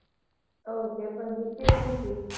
oh તે પણ BCA જ લીધું છે?